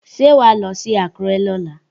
Ṣé wàá lọ sí Àkúrẹ́ lọ́la?